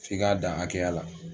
F'i k'a dan hakɛya la